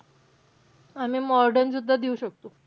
आम्ही modern सुद्धा देऊ शकतो.